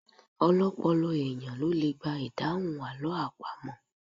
Ọlọ́pọlọ èèyàn ló le gba ìdáhùn àlọ́ àpamọ̀